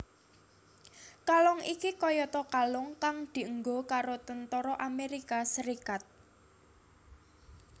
Kalung iki kayata kalung kang dienggo karo tentara Amérika Serikat